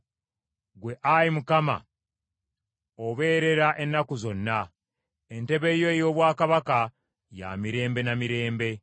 Ggwe, Ayi Mukama obeerera ennaku zonna; entebe yo ey’obwakabaka ya mirembe na mirembe.